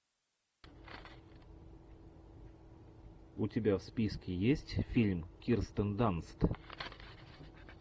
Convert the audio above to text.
у тебя в списке есть фильм кирстен данст